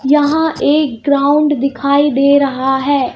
यहां एक ग्राउंड दिखाई दे रहा है.